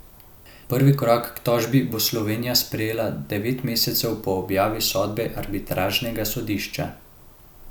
Prvi korak k tožbi bo Slovenija sprejela devet mesecev po objavi sodbe arbitražnega sodišča.